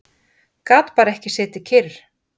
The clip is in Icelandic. Gat bara ekki setið kyrr.